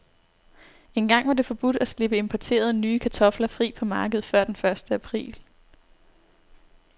Engang var det forbudt at slippe importerede, nye kartofler fri på markedet før den første april.